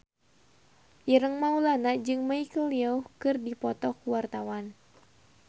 Ireng Maulana jeung Michelle Yeoh keur dipoto ku wartawan